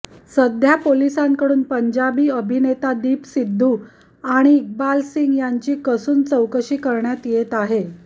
सध्या पोलिसांकडून पंजाबी अभिनेता दीप सिद्धू आणि इक्बाल सिंग यांची कसून चौकशी करण्यात येत आहे